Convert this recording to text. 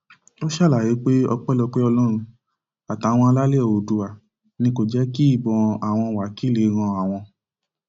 ó ṣàlàyé pé ọpẹlọpẹ ọlọrun àtàwọn alálẹ oòdùà ni kò jẹ kí ìbọn àwọn wákilì ran àwọn